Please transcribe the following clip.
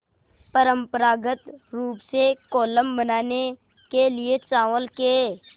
परम्परागत रूप से कोलम बनाने के लिए चावल के